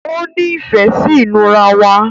òní ìfé sí inura wá.